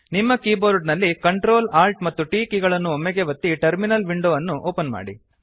ನಿಮ್ಮ ಕೀಬೋರ್ಡ ನಲ್ಲಿ Ctrl Alt ಮತ್ತು T ಕೀ ಗಳನ್ನು ಒಮ್ಮೆಗೇ ಒತ್ತಿ ಟರ್ಮಿನಲ್ ವಿಂಡೊ ಅನ್ನು ಓಪನ್ ಮಾಡಿ